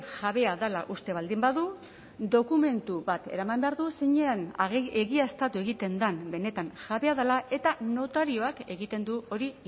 jabea dela uste baldin badu dokumentu bat eraman behar du zeinean egiaztatu egiten den benetan jabea dela eta notarioak egiten du hori